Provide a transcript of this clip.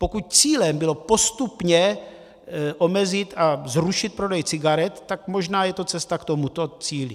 Pokud cílem bylo postupně omezit a zrušit prodej cigaret, tak možná je to cesta k tomuto cíli.